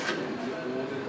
Yox, bu qaldı.